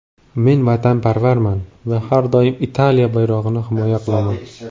Men vatanparvarman va har doim Italiya bayrog‘ini himoya qilaman.